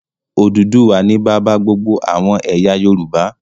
Odùduwà ni bàbá gbogbo àwọn ẹ̀yà Yorùbá.